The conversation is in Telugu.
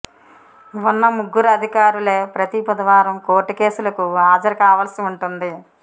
ఉన్న ముగ్గురు అధికారులే ప్రతి బుధవారం కోర్టు కేసులకు హాజరు కావాల్సి ఉంటుం ది